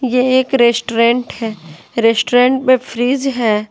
यह एक रेस्टोरेंट है। रेस्टोरेंट में फ्रिज है।